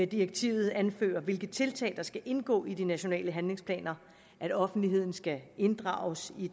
direktivet anfører hvilke tiltag der skal indgå i de nationale handlingsplaner at offentligheden skal inddrages i